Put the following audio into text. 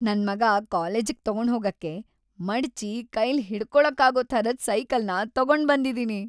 ನನ್ಮಗ ಕಾಲೇಜಿಗ್ ತಗೊಂಡ್ ಹೋಗಕ್ಕೆ ಮಡ್ಚಿ ಕೈಲ್‌ ಹಿಡ್ಕೊಳಕ್ಕಾಗೋ ಥರದ್ ಸೈಕಲ್‌ನ ತಗೊಂಡ್ಬಂದಿದೀನಿ.